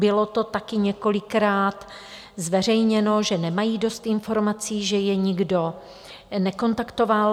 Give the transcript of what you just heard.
Bylo to taky několikrát zveřejněno, že nemají dost informací, že je nikdo nekontaktoval.